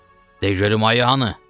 De görüm ayım hanı?